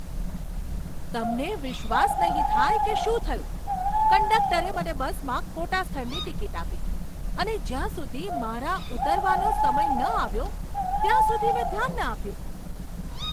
તમને વિશ્વાસ નહીં થાય કે શું થયું! કંડક્ટરે મને બસમાં ખોટા સ્થળની ટિકિટ આપી, અને જ્યાં સુધી મારા ઉતરવાનો સમય ન આવ્યો ત્યાં સુધી મેં ધ્યાન ન આપ્યું!